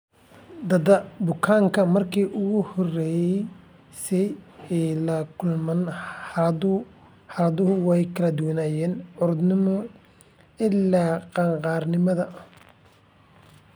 Da'da bukaanada markii ugu horeysay ee ay la kulmaan calaamaduhu way kala duwanaayeen caruurnimada ilaa qaangaarnimada.